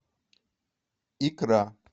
икра